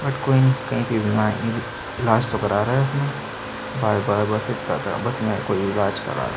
But कोई नइ इलाज तो कर रहा है अपना बार बार कोई बस इतता बस मेरी कोई इलाज कर रहा है।